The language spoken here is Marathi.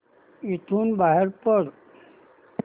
इथून बाहेर पड